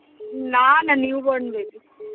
না না new born baby.